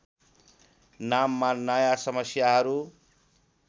नाममा नयाँ समस्याहरू